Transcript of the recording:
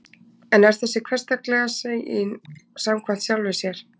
En er þessi hversdagslega sýn samkvæm sjálfri sér?